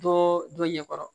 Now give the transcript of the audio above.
Dɔɔ dɔ ɲɛkɔrɔ